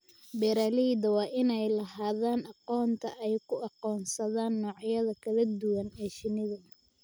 Beeralayda waa inay lahaadaan aqoonta ay ku aqoonsadaan noocyada kala duwan ee shinnida.